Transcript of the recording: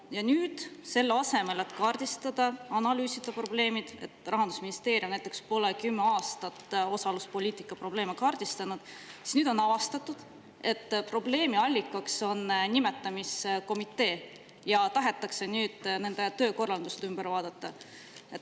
Ja selle asemel, et probleeme analüüsida ja kaardistada – Rahandusministeerium näiteks pole kümme aastat osaluspoliitika probleeme kaardistanud –, on nüüd avastatud, et üks probleemi allikas on nimetamiskomitee, ja tahetakse nende töökorraldust muuta.